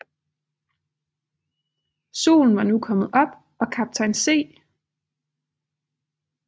Solen var nu kommet op og kaptajn C